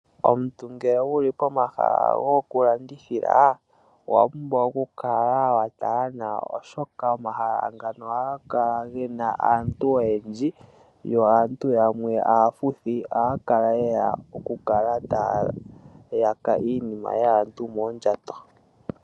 Omuntu ngele wuli pomahala goku landithila owa pumbwa oku kala wa tala nawa oshoka omahala ngano ohaga kala gena aantu oyendji. Yo aantu yamwe aafuthi ohaya kala ye ya oku kala taya yaka iinima yaantu moondjato.